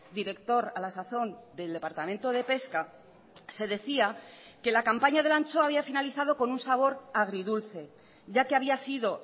director a la sazón del departamento de pesca se decía que la campaña de la anchoa había finalizado con un sabor agridulce ya que había sido